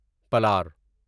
پلار